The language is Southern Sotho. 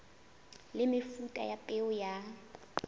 le mefuta ya peo ya